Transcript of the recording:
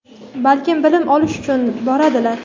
balkim bilim olish uchun boradilar.